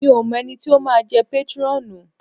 Mi ò mọ ẹni tí ó máa jẹ́ pétrọ́ọ̀nù.